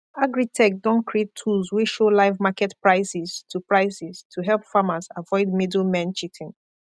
agritech don create tools wey show live market prices to prices to help farmers avoid middlemen cheating